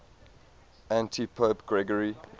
antipope gregory